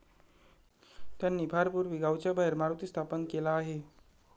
त्यांनी फार पूर्वी गावाच्या बाहेर मारुती स्थापन केला आहे.